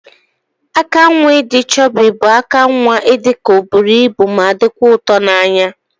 Aka nwa idi chubi bu aka nwa idika oburu ibu ma dikwa ụtọ na anya.